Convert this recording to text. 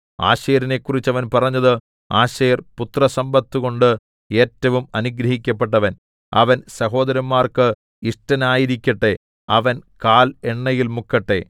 ആശേരിനെക്കുറിച്ച് അവൻ പറഞ്ഞത് ആശേർ പുത്രസമ്പത്തുകൊണ്ട് ഏറ്റവും അനുഗ്രഹിക്കപ്പെട്ടവൻ അവൻ സഹോദരന്മാർക്ക് ഇഷ്ടനായിരിക്കട്ടെ അവൻ കാൽ എണ്ണയിൽ മുക്കട്ടെ